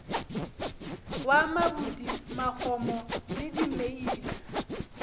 wa mabudi magomo le dimeila